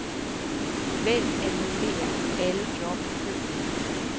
Vælg annullér alle job i køen.